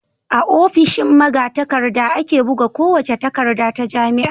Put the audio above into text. A ofishin magatakarda ake buga kowace takarda ta jami'a.